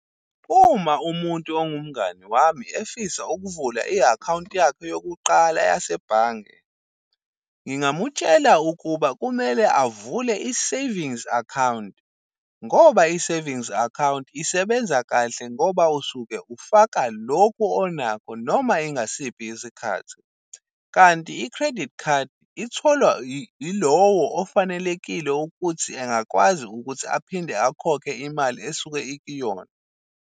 Uma umuntu ongumngani wami efisa ukuvula i-akhawunti yakhe yokuqala yasebhange, ngingamutshela ukuba kumele avule i-savings account, ngoba i-savings account isebenza kahle, ngoba usuke ufaka lokhu onakho noma ingasiphi isikhathi. Kanti i-credit card itholwa yilowo ofanelekile ukuthi engakwazi ukuthi aphinde akhokhe imali esuke ikuyona.